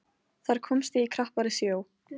Þar komst ég í krappari sjó.